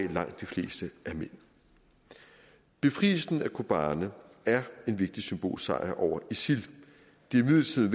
er langt de fleste mænd befrielsen af kobane er en vigtig symbolsk sejr over isil det er imidlertid